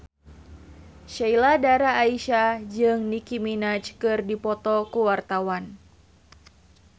Sheila Dara Aisha jeung Nicky Minaj keur dipoto ku wartawan